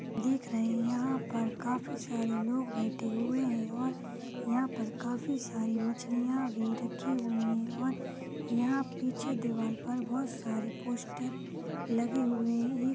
--देख रहे हैं यहां पर काफी सारे लोग बैठे हुए हैं यहां-यहा पर काफी सारे मछलियां रखी हुई हैंऔर यहां पीछे दीवार पर बहुत सारे पोस्टर लगे हुए हैं।